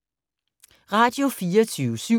Radio24syv